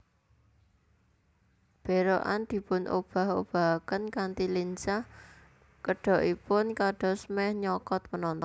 Berokan dipun obah obahaken kanthi lincah kedokipun kados meh nyokot penonton